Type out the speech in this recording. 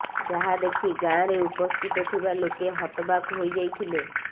ଯାହା ଦେଖି ଗାଁରେ ଉପସ୍ଥିତ ଥିବା ଲୋକେ ହତବାକ୍ ହୋଇ ଯାଇଥିଲେ